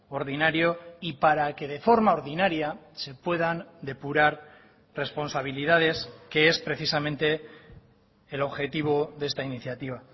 ordinario y para que de forma ordinaria se puedan depurar responsabilidades que es precisamente el objetivo de esta iniciativa